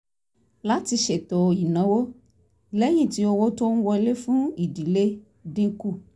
láti ṣètò ìnáwó lẹ́yìn tí owó tó ń wọlé fún ìdílé dín kù